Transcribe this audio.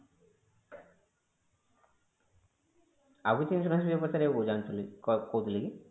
ଆଉ କିଛି insurance ରେ କିଛି ପଚାରିବାକୁ ଚାହୁଁଛନ୍ତି କହୁଥିଲେ କି